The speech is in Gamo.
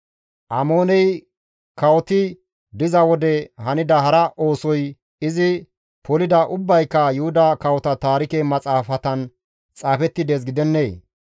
Amooney kawoti diza wode hanida hara oosoy izi poliday ubbayka Yuhuda Kawota Taarike Maxaafatan xaafetti dees gidennee?